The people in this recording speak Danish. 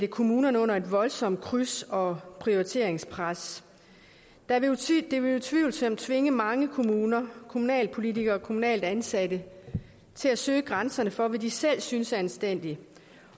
kommunerne under et voldsomt kryds og prioriteringspres det vil utvivlsomt tvinge mange kommuner kommunalpolitikere og kommunalt ansatte til at søge grænserne for hvad de selv synes er anstændigt